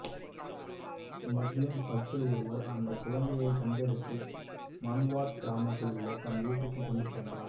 முஸ்லிம் பக்கீர் ஒருவர் அந்த குழந்தையை கண்டெடுத்து மன்வாத் கிராமத்தில் உள்ள தன் வீட்டுக்கு கொண்டு சென்றார்